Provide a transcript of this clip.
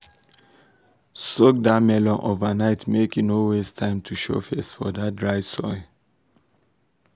soak that melon overnight make e no waste time to show face for that dry soil.